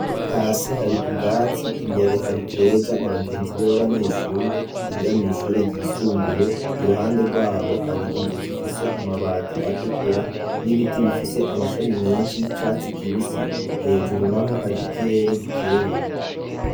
Hasi hari ubwatsi imbere hari keza n'abagenzi be b'abanyeshure yiga mw'ishure ryisumbuye iruhande rwabo hari inzu zifise amabati atukura n'ibiti bifise amashami menshi y'icatsi kibisi hejuru naho hari ikirere gikeye.